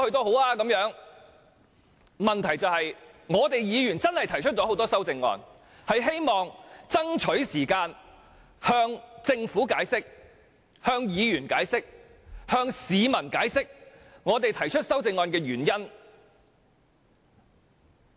我們確是提出了多項修正案，期望能爭取時間向政府、議員及市民解釋我們提出各項修正案的原因。